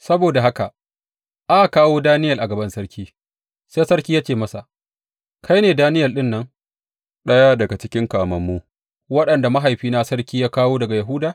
Saboda haka aka kawo Daniyel a gaban sarki, sai sarki ya ce masa, Kai ne Daniyel ɗin nan, ɗaya daga cikin kamammu waɗanda mahaifina sarki ya kawo daga Yahuda?